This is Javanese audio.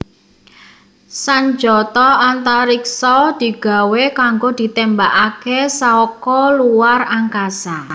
Sanjata antariksa digawé kanggo ditémbakaké saka luar angkasa